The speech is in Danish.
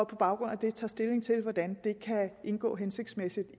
på baggrund af det tager stilling til hvordan det kan indgå hensigtsmæssigt